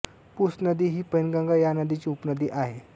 पूस नदी ही पैनगंगा या नदीची उपनदी आहे